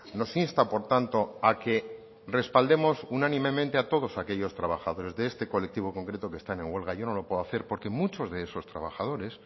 nos insta por tanto a que respaldemos unánimemente a todos aquellos trabajadores de este colectivo concreto que están en huelga yo no lo puedo hacer porque muchos de esos trabajadores